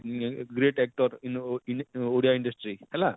ଇଁ great actor in ଓ in Odia industry ହେଲା